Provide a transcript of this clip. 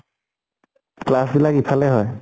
class বিলাক এফালে হয়